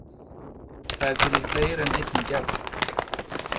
Það er til í fleiri en einni gerð.